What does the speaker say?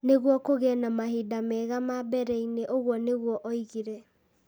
nĩguo kũgĩe na mahinda mega ma mbere-inĩ. Ũguo nĩguo oigire.